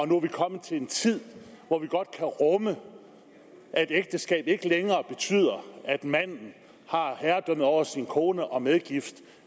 nu er kommet til en tid hvor vi godt kan rumme at ægteskab ikke længere betyder at manden har herredømmet over sin kone og hendes medgift